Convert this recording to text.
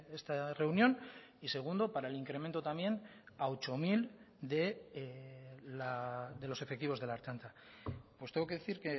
esta reunión y segundo para el incremento también a ocho mil de los efectivos de la ertzaintza pues tengo que decir